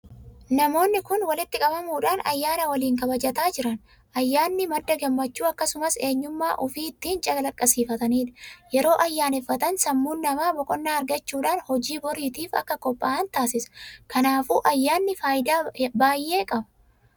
Namoonni kun walitti qabamuudhaan ayyaana waliin kabajataa jiran. Ayyaanni madda gammachuu akkasumas eenyummaa ufii ittiin calaqqisiifataniidha. Yeroo ayyaaneffatan sammuun namaa boqonnaa argachuudhaan hojii birootiif akka qophaa'an taasisa. Kanaafuu ayyaanni faayidaa baay'ee qaba.